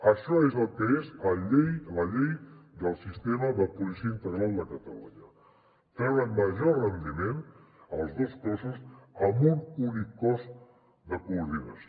això és el que és la llei del sistema de policia integral de catalunya treure major rendiment als dos cossos amb un únic cos de coordinació